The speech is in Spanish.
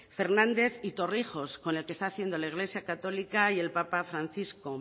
fernández y torrijos con el que está haciendo la iglesia católica y el papa francisco